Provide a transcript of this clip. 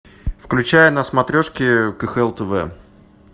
включай на смотрешке кхл тв